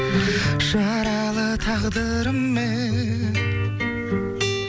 жаралы тағдырыңмен